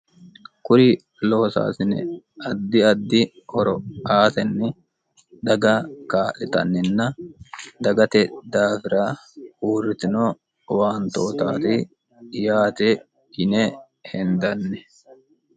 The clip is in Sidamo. kuri loosaasine addi addi horo aatenni daga kaa'litanninna dagate daafira uurritino owaantootaati yaate yine hendanni